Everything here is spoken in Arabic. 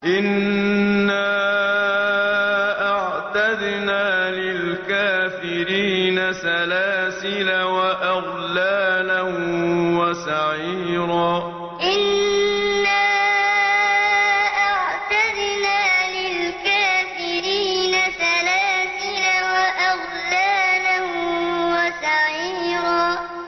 إِنَّا أَعْتَدْنَا لِلْكَافِرِينَ سَلَاسِلَ وَأَغْلَالًا وَسَعِيرًا إِنَّا أَعْتَدْنَا لِلْكَافِرِينَ سَلَاسِلَ وَأَغْلَالًا وَسَعِيرًا